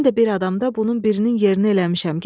Mən də bir adamda bunun birinin yerini eləmişəm.